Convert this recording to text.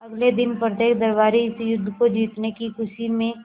अगले दिन प्रत्येक दरबारी इस युद्ध को जीतने की खुशी में